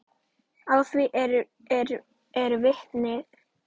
Að því eru vitni.